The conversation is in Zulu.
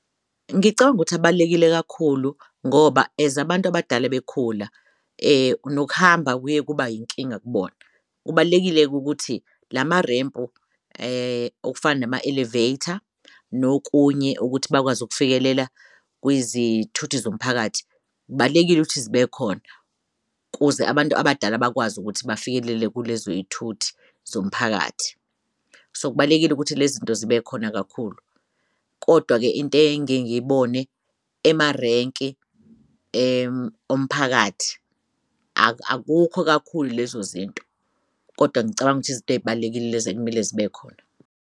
Ngicang'ukuthi abalulekile kakhulu ngoba as abantu abadala bekhula nokuhamba kuye kuba yinkinga kubona. Kubalulekile-ke ukuthi nama-rempu okufana nama-elevator nokunye ukuthi bakwazi ukufikelela kwizithuthi zomphakathi kubalulekile ukuthi zibekhona kuze abantu abadala bakwazi ukuthi bafikelele kulezo zithuthi zomphakathi. So kubalulekile ukuthi lezinto zibe khona kakhulu, kodwa-ke into engiyengiy'bone emarenki omphakathi akukho kakhulu lezo zinto, kodwa ngicabanga ukuthi izinto ey'balulekile lezo ekumele zibe khona.